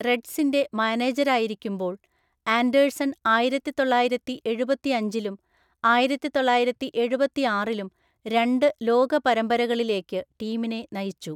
റെഡ്സിൻ്റെ മാനേജരായിരിക്കുമ്പോൾ, ആൻഡേഴ്സൺ ആയിരത്തിതൊള്ളായിരത്തിഎഴുപത്തിഅഞ്ചിലും ആയിരത്തിതൊള്ളായിരത്തിഎഴുപത്തിആറിലും രണ്ട് ലോക പരമ്പരകളിലേക്ക് ടീമിനെ നയിച്ചു.